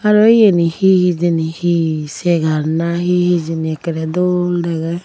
aro iyeni he hijeni he segar na he hijeni ekkorey dol degey.